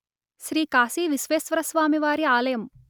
శ్రీ కాశీ విశ్వేశ్వరస్వామివారి ఆలయం